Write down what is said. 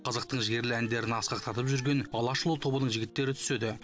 қазақтың жігерлі әндерін асқақтатып жүрген алашұлы тобының жігіттері түседі